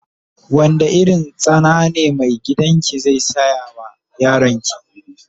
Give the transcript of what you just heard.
Wanda irin tsana ne mai gidan ki zai siya ma yaron ki.